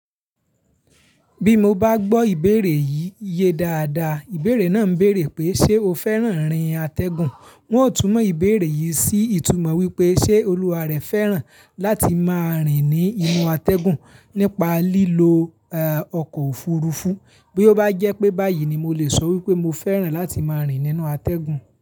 Bí mo bá gbọ́ ìbéèrè yìí ye dáadáa, ìbéèrè náà ń bèèrè pé, ṣé o fẹ́ràn irín atẹ́gùn? Wọn ó tún mọ ìbéèrè yìí sí ìtumọ̀ wípé ṣé olùwà rẹ̀ fẹ́ràn láti máa rìn ní inú atẹ́gùn nípa lílo, e, ọkọ̀ òfuurufú. Bí ó bá jẹ́ pé báyìí ni mo lè sọ wípé mo fẹ́ràn láti máa rìn nínú atẹ́gùn.